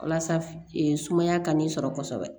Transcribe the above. Walasa sumaya ka n'i sɔrɔ kosɛbɛ